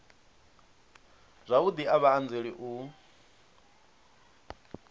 zwavhudi a vha anzeli u